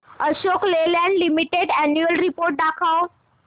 Ashok Leyland limited annual report दाखव